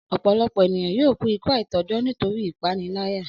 Ọ̀pọ̀lọpọ̀ ènìyàn yóò kú ikú àìtọ́jọ́ nítorí ìpániláyà